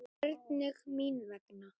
Hvernig mín vegna?